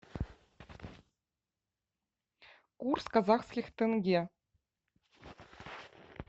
курс казахских тенге